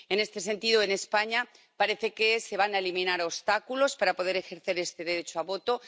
En este sentido, en España, parece que se van a eliminar obstáculos para poder ejercer este derecho al voto.